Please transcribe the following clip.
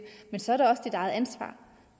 så er det også dit eget ansvar